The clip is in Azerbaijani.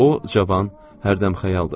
O, cavan, hərdəmxəyaldır.